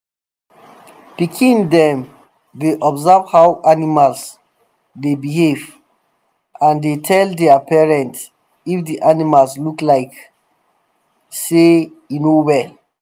pikin dem dey observe how animals dey behave and dey tell their parents if di animal look like say e no well